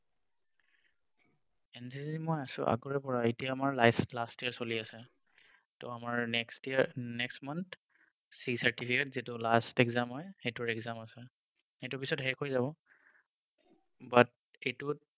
NCC মই আছো আগৰে পৰাই এতিয়া last sem চলি আছে so আমাৰ next year next month C certificate যিটো exam হয় সেইটোৰ exam আছে এইটোৰ পাছত শেষ হৈ যাব but এইটোত